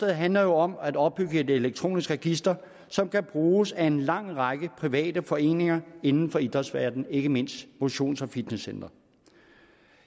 handler jo om at opbygge et elektronisk register som kan bruges af en lang række private foreninger inden for idrætsverdenen ikke mindst motions og fitnesscentre